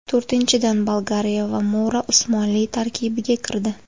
To‘rtinchidan, Bolgariya va Mora Usmonli tarkibiga kirdi.